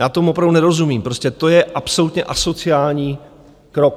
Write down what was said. Já tomu opravdu nerozumím, prostě to je absolutně asociální krok.